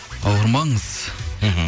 ауырмаңыз мхм